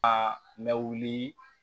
Aa mɛ wuli